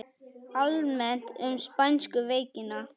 Almennt um spænsku veikina